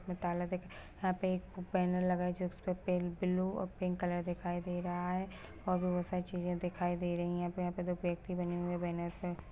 उसमे ताला देख यहाँ पे एक बैनर लगा है जिसमे पिंक ब्लू और पिंक कलर दिखाई दे रहा है और भी बहोत सारी चीजे दिखाई दे रहा है यहाँ पे यहाँ पे दो व्यक्ति बने हुई है बैनर पे --